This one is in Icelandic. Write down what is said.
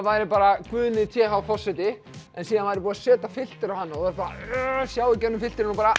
væri bara Guðni t h forseti en síðan væri búið að setja filter á hann og bara sjá í gegnum filterinn og bara